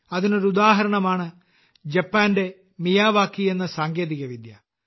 അതിനൊരു ഉദാഹരണം ആണ് ജപ്പാന്റെ മിയാവാക്കി എന്ന സാങ്കേതിക വിദ്യ